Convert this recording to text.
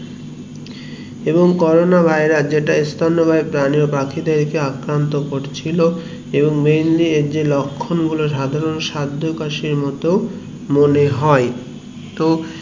এবং corona virus যেটা ইস্তন্ন বাহি প্রাণী এবং পাখি দেড় কে আক্রান্ত করছিলো এবং mainly এর যে যখন গুলো সাধারণ সাধকশির মতো মনে হয় তো